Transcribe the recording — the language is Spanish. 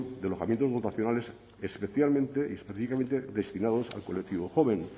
de alojamientos dotacionales especialmente destinados al colectivo joven